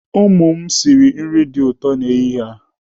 Ụmụ m sịrị nri dị ụtọ n'ehihie a.